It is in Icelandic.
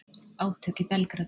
Átök í Belgrad